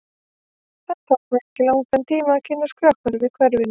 Það tók mig ekki langan tíma að kynnast krökkunum í hverfinu.